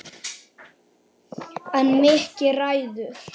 En Mikki ræður.